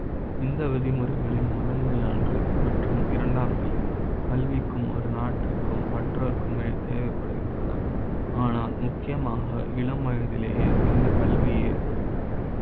இந்த விதிமுறைகளின் முதன்மை ஆன்ற மற்றும் இரண்டாம் நிலை கல்வி க்கும் ஒரு நாட்டிற்கு ம் மற்றொரு க்கு மே தேவை ப்படுகின்றன. ஆனால் முக்கிய மாக இளம் வயதிலேயே இந்த கல்வி ஏற்படுகிறது.